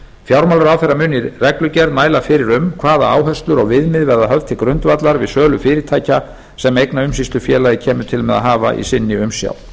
fjármálaráðherra mun í reglugerð mæla fyrir um hvaða áherslur og viðmið verða höfð til grundvallar við sölu fyrirtækja sem eignaumsýslufélagið kemur til með hafa í sinni umsjá